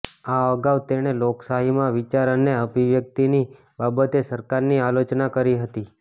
આ અગાઉ તેણે લોકશાહીમાં વિચાર અને અભિવ્યક્તિની બાબતે સરકારની આલોચના કરી હતી